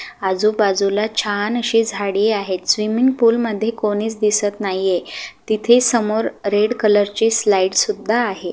आजूबाजूला छान अशे झाडे आहेत स्विमिंग पूल मध्ये कोणीच दिसत नाहीये तिथे समोर रेड कलर ची स्लाइड सुद्धा आहे.